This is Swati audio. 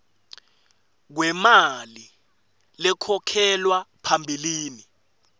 kwemali lekhokhelwa phambilini